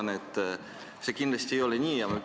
Mina arvan, et see kindlasti nii ei ole.